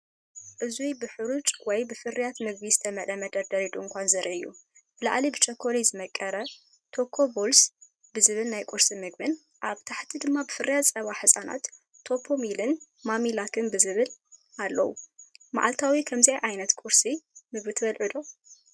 እዚ ብሑሩጭ ወይ ፍርያት ምግቢ ዝተመልአ መደርደሪ ድኳን ዘርኢ እዩ። ብላዕሊ ብቸኮሌት ዝመቐረ “ቾኮ ቦልስ” ዝብል ናይ ቁርሲ ምግቢን ኣብ ታሕቲ ድማ ፍርያት ጸባ ህጻናት “ሊፕቶሚል”ን“ማሚ ላክ”ን ዝብልን ኣለው። መዓልታዊ ከምዚ ዓይነት ናይ ቁርሲ ምግቢ ትበልዑ ዶ?